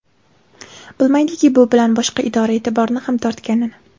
Bilmaydiki, bu bilan boshqa idora e’tiborini ham tortganini.